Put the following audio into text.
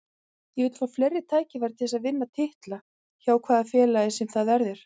Ég vil fá fleiri tækifæri til að vinna titla, hjá hvaða félagi sem það verður.